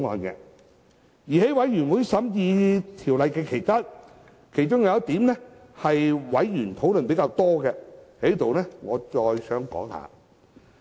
在法案委員會審議《條例草案》期間，其中有一點是委員討論較多的，我在此再論述一下。